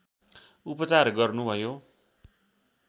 उपचार गर्नुभयो